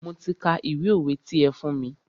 Mi ò ti ka ìwé òwe ti ẹ fún mí.